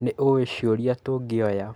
Nĩ ũĩ ciũria tũngĩoya?